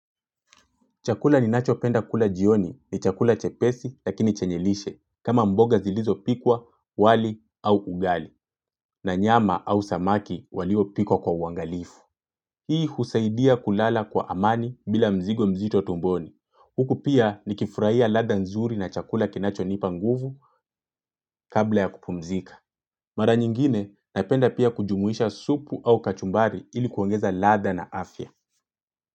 Chakula ninacho penda kula jioni ni chakula chepesi lakini chenye lishe kama mboga zilizopikwa, wali au ugali na nyama au samaki waliopikwa kwa uangalifu. Hii husaidia kulala kwa amani bila mzigo mzito tumboni. Huku pia nikifurahia ladha nzuri na chakula kinachonipa nguvu kabla ya kupumzika. Mara nyingine napenda pia kujumuisha supu au kachumbari ili kuongeza ladha na afya.